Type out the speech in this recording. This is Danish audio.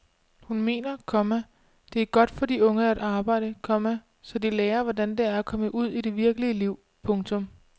Hun mener, komma det er godt for de unge at arbejde, komma så de lærer hvordan det er at komme ud i det virkelige liv. punktum